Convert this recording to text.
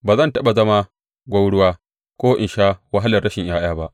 Ba zan taɓa zama gwauruwa ko in sha wahalar rashin ’ya’ya ba.’